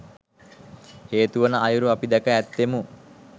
හේතු වන අයුරු අපි දැක ඇත්තේමු